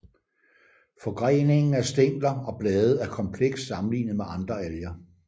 Forgreningen af stængler og blade er kompleks sammenlignet med andre alger